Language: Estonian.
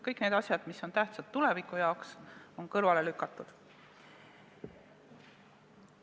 Kõik need asjad, mis on tähtsad tuleviku jaoks, on kõrvale lükatud.